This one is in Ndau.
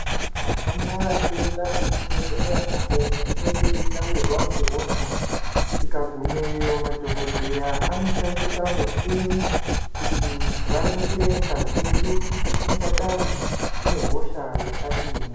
Tikahamba teienda kuzvibhedhleya apo patinenge tavirwa ngehosha. Tikagumeyo madhogodheya anochandisa muchini kuti varingire ngazi yedu kuti ingadai ine hosha yakadini.